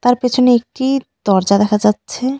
তার পেছনে একটি দরজা দেখা যাচ্ছে .